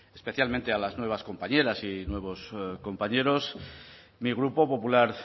especialmente a las nuevas compañeras y nuevos compañeros mi grupo popular